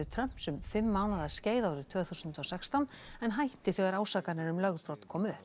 Trumps um fimm mánaða skeið árið tvö þúsund og sextán en hætti þegar ásakanir um lögbrot komu upp